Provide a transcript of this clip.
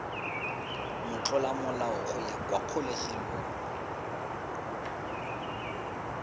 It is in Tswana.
motlolamolao go ya kwa kgolegelong